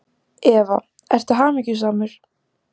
Eva: Ertu hamingjusamur?